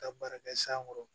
Ka baara kɛ san kɔrɔ